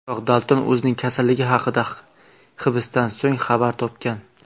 Biroq Dalton o‘zining kasalligi haqida hibsdan so‘ng xabar topgan.